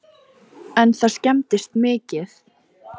En það skemmdist mikið